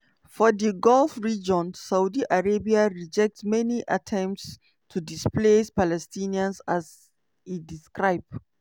for di gulf region saudi arabia reject any attempts to displace palestinians as e describe